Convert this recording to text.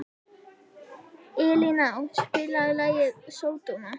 Elíná, spilaðu lagið „Sódóma“.